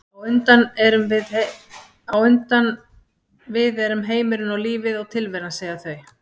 á undan við erum heimurinn og lífið og tilveran, segja þau.